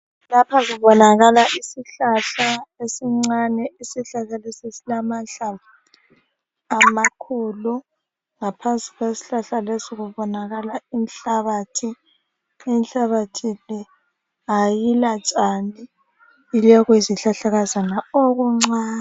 Lapha kubonakala isihlahla esincane. Isihlahla lesi silamahlamvu amakhulu. Ngaphansi kwesihlahla lesi kubonakala inhlabathi. Inhlabathi le ayilatshani, ilokuyizihlahlakazana okuncane.